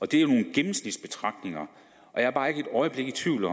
det er jo nogle gennemsnitsbetragtninger og jeg er bare ikke et øjeblik i tvivl